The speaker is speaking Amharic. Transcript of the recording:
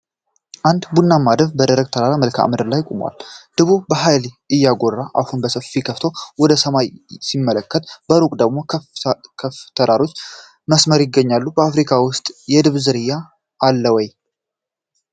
አንድ ቡናማ ድብ በደረቅ የተራራ መልክዓ ምድር ላይ ቆሟል። ድቡ በኃይል እያጎራ አፉን በሰፊው ከፍቶ ወደ ሰማይ ሲመለከት በሩቅ ደግሞ ክፍ የተራሮች መስመር ይገኛል። በአፍሪካ ውስጥ የድብ ዝርያ አለ ወይ?